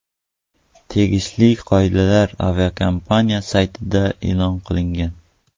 Tegishli qoidalar aviakompaniya saytida e’lon qilingan.